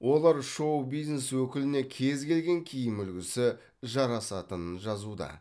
олар шоу бизнес өкіліне кез келген киім үлгісі жарасатынын жазуда